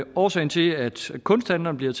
årsagen til at kunsthandlere bliver